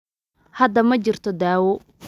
Hadda ma jirto daawo